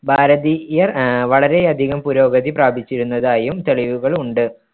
ഭാരതീയർ ആഹ് വളരെയധികം പുരോഗതി പ്രാപിച്ചിരുന്നതായും തെളിവുകൾ ഉണ്ട്.